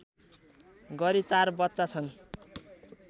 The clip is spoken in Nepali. गरी ४ बच्चा छन्